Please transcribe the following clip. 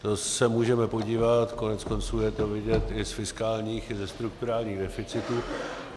To se můžeme podívat, koneckonců je to vidět i z fiskálních i ze strukturálních deficitů.